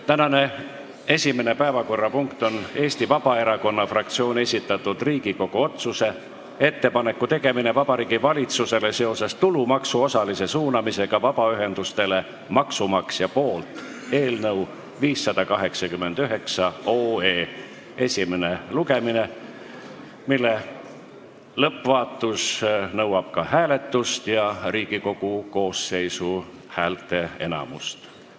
Tänane esimene päevakorrapunkt on Eesti Vabaerakonna fraktsiooni esitatud Riigikogu otsuse "Ettepaneku tegemine Vabariigi Valitsusele seoses tulumaksu osalise suunamisega vabaühendustele maksumaksja poolt" eelnõu 589 esimene lugemine, mille lõppvaatus nõuab ka hääletust ja Riigikogu koosseisu häälteenamust.